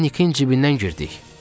Ora Nikin cibindən girdik.